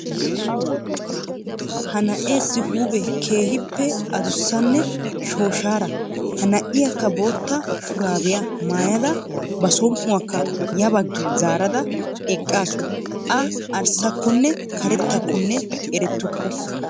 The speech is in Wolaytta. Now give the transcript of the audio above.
Ha na'eesi huphphee keehippe adussanne shooshshaara. Ha na'iyaakka bootta shuraabiyaa maayada ba som"uwaakka ya baaggi zaarada eqqaasu. A arssakonne karettakonne erettuku.